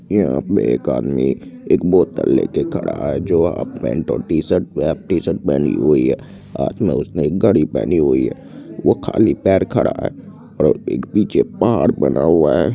यहाँ पे एक आदमी एक बोतल लेकर खड़ा है जो हाफ पैंट और टी-शर्ट टी-शर्ट पहनी हुई है। हाथ में उसने एक घडी पहनी हुई है। वो खाली पैर खड़ा है और एक पीछे पहाड़ बना हुआ है।